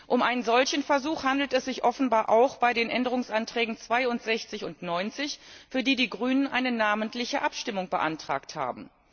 Um einen solchen Versuch handelt es sich offenbar auch bei den Änderungsanträgen 62 und 90, für die die Grünen eine namentliche Abstimmung beantragt haben.